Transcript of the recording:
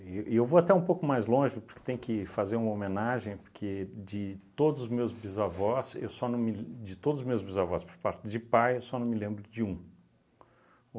E e eu vou até um pouco mais longe, porque tem que fazer uma homenagem, porque de todos os meus bisavós, eu só não me l, de todos os meus bisavós por parte de pai, eu só não me lembro de um.